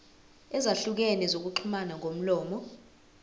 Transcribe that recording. ezahlukene zokuxhumana ngomlomo